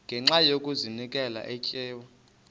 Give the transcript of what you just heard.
ngenxa yokazinikela etywa